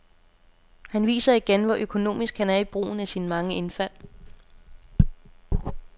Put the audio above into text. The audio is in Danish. Han viser igen, hvor økonomisk han er i brugen af sine mange indfald.